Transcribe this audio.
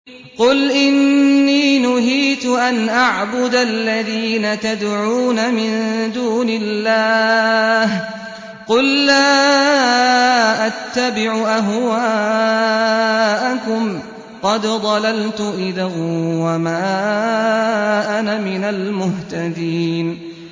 قُلْ إِنِّي نُهِيتُ أَنْ أَعْبُدَ الَّذِينَ تَدْعُونَ مِن دُونِ اللَّهِ ۚ قُل لَّا أَتَّبِعُ أَهْوَاءَكُمْ ۙ قَدْ ضَلَلْتُ إِذًا وَمَا أَنَا مِنَ الْمُهْتَدِينَ